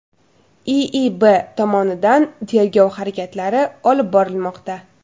IIB tomonidan tergov harakatlari olib borilmoqda.